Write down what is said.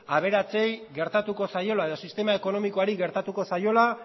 aberatsei gertatuko zaiola edo sistema ekonomikoari gertatuko zaiola